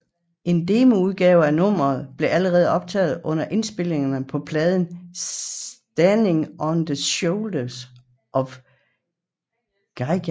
En demoudgave af nummeet blevet allerede optaget under indspilningerne af pladen Standing on the Shoulders of Giants